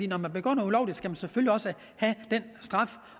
når man begår noget ulovligt skal man selvfølgelig også have en straf